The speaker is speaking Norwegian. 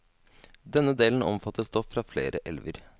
Denne delen omfatter stoff fra flere elver.